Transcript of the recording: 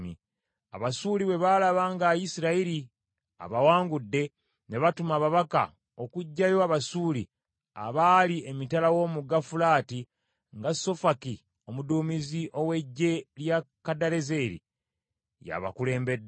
Abasuuli bwe baalaba nga Isirayiri abawangudde, ne batuma ababaka, okuggyayo Abasuuli abaali emitala w’Omugga Fulaati, nga Sofaki omuduumizi ow’eggye lya Kadalezeri yabakulembedde.